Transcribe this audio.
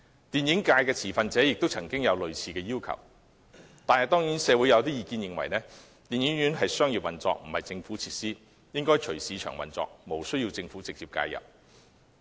電影界的持份者亦曾提出類似要求，但社會有意見認為，電影院屬商業運作，並非政府設施，應隨市場運作，無需政府直接介入。